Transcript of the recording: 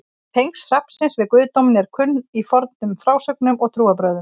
tengsl hrafnsins við guðdóminn eru kunn í fornum frásögnum og trúarbrögðum